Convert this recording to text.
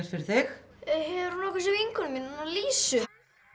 fyrir þig hefurðu nokkuð séð vinkonu mína hana Lísu